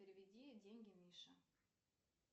переведи деньги мише